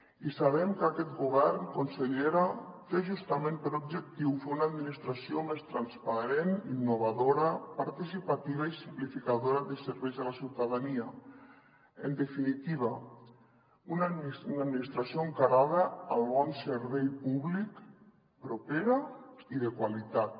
i sabem que aquest govern consellera té justament per objectiu fer una administració més transparent innovadora participativa i simplificadora de serveis a la ciutadania en definitiva una administració encarada al bon servei públic propera i de qualitat